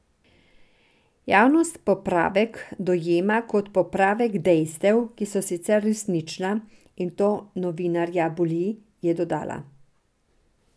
Javnost popravek dojema kot popravek dejstev, ki so sicer resnična, in to novinarja boli, je dodala.